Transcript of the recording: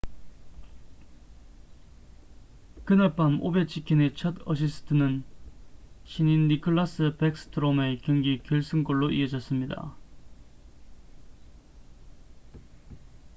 그날 밤 오베치킨의 첫 어시스트는 신인 니클라스 백스트롬의 경기 결승골로 이어졌습니다